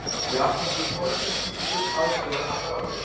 Japanskur orgelsnillingur aðstoðar Apparat